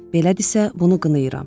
Belədirsə, bunu qınayıram.